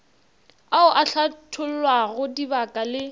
ao a hlathollago dibaka le